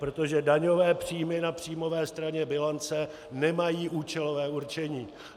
Protože daňové příjmy na příjmové straně bilance nemají účelové určení.